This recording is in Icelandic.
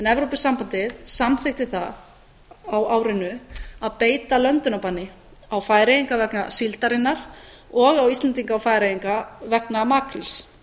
evrópusambandið samþykkti það á árinu að beita löndunarbanni á færeyinga vegna síldarinnar og á íslendinga og færeyinga vegna makríls